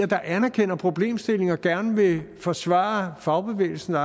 der anerkender problemstillingerne og gerne vil forsvare fagbevægelsens og